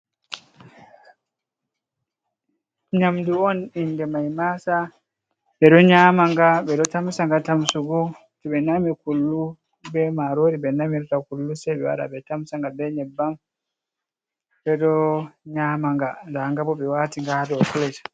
nyamdu on inde mai maasa, ɓeɗon nyama nga ɓeɗon tamsa nga Tamsugo, toɓe nami kullu bee maarori ɓenamirta kullu sei ɓewara ɓetamsa bee nyabbam, ɓeɗon nyama nga, ndanga boh ɓewati nga hadow fules.